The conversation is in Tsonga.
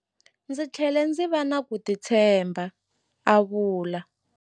Ndzi tlhele ndzi va na ku titshemba, a vula.